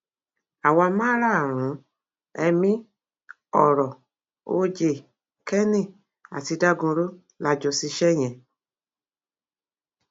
àwa márààrún ẹmí ọrọ oj kenny àti dagunro la jọ ṣiṣẹ yẹn